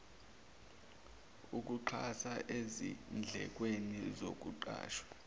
ukuxhasa ezindlekweni zokuqasha